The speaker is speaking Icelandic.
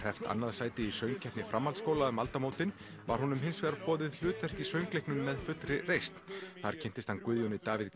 annað sætið í söngkeppni framhaldskólanna um aldamótin var honum hins vegar boðið hlutverk í söngleiknum með fullri reisn þar kynntist hann Guðjóni Davíð